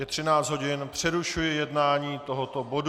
Je 13 hodin, přerušuji jednání tohoto bodu.